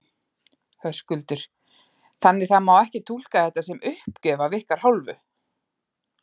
Höskuldur: Þannig það má ekki túlka þetta sem uppgjöf af ykkar hálfu?